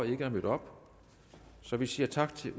ikke er mødt op så vi siger tak til